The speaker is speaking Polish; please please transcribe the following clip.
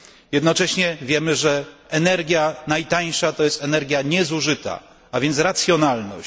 Jednocześnie wiemy, że energia najtańsza to energia niezużyta, a więc racjonalność.